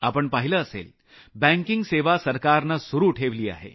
आपण पाहिलं असेल बँकिंग सेवा सरकारनं सुरू ठेवली आहे